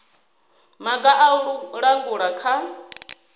maga a u langula kha